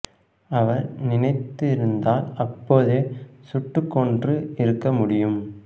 அவர் நினைத்து இருந்தால் அப்போதே சுட்டுக் கொன்று இருக்க முடியும்